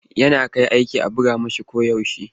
Yana kai aiki a buga masa koyaushe.